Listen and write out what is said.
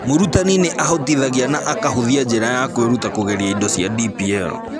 Mũrutani nĩ ahotithagia na akahũthia njĩra ya kwĩruta kũgerera indo cia DPL.